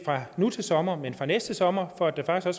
nu til sommer men fra næste sommer for at der